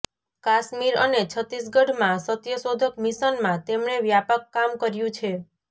કાશ્મીર અને છત્તીસગઢમાં સત્યશોધક મિશનમાં તેમણે વ્યાપક કામ કર્યું છે